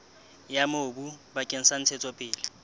ya mobu bakeng sa ntshetsopele